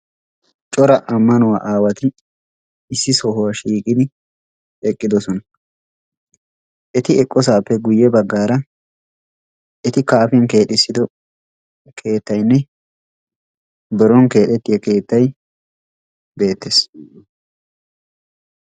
Cora ammanuwa aawatti issippe eqqidosnna. Etti eqqidosappe guye bagan etti kaafiyan keexxiddo keettayinne qassikka hara keettay beetees.